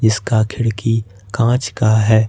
इसका खिड़की कांच का है।